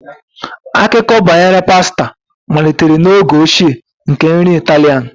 Akụkọ banyere pasta malitere n'oge ochie nke nri Italian.